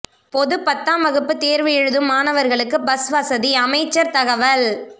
பொது பத்தாம் வகுப்பு தேர்வு எழுதும் மாணவர்களுக்கு பஸ்வசதி அமைச்சர் தகவல்